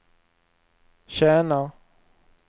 tjänar